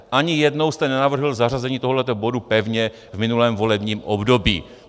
Ani jednou jste nenavrhl zařazení tohoto bodu pevně v minulém volebním období.